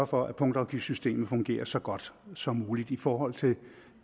for at punktafgiftssystemet fungerer så godt som muligt i forhold til